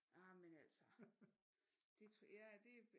Jamen altså det